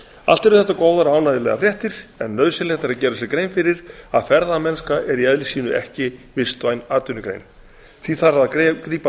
allt eru þetta góðar og ánægjulegar fréttir en nauðsynlegt er að gera sér grein fyrir að ferðamennska er í eðli sínu ekki vistvæn atvinnugrein því þarf að grípa